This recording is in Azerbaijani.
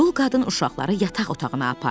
Dul qadın uşaqları yataq otağına apardı.